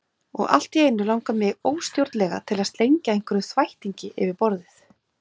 Og allt í einu langar mig óstjórnlega til að slengja einhverjum þvættingi yfir borðið.